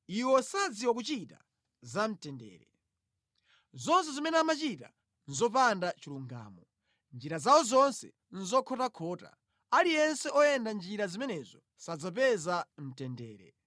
Iwo sadziwa kuchita za mtendere; zonse zimene amachita nʼzopanda chilungamo. Njira zawo zonse nʼzokhotakhota; aliyense oyenda mʼnjira zimenezo sadzapeza mtendere.